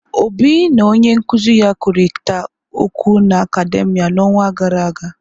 Obi na onye nkuzi ya kwurịta okwụ na akademìa n'ọnwa gara aga.